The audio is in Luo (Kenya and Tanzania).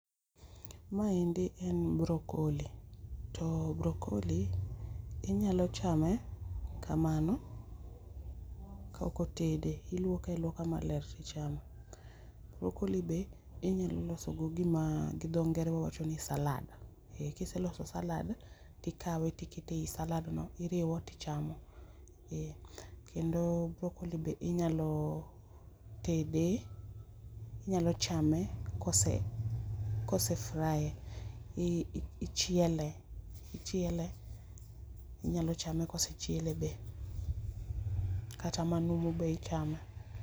Ma endi en brocolli, to brocolli inyalo chame kamano, ka ok otede iluoke aluoka maler ti ichame brocolli be inya loso go gi ma dho ngere wacho ni salad, ki ise loso salad ti ikawe ti ikete e i [c s]salad no iriwo ti ichamo kendo brocolli be inyalo tede, inyalo chame kose [c s]fry e, ichiele inyalo chame kose chiele be kata manumu be ichame .